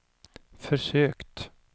försökt